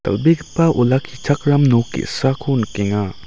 dal·begipa olakkichakram nok ge·sako nikenga.